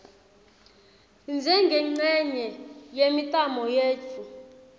njengencenye yemitamo yetfu